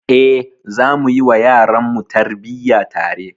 Eh, zamu yi wa yaranmu tarbiyya tare.